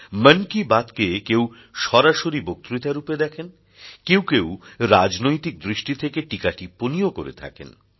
মন কি বাত কে কেউ সরাসরি বক্তৃতারূপে দেখেন কেউ কেউ রাজনৈতিক দৃষ্টি থেকে টীকা টিপ্পনিও করে থাকেন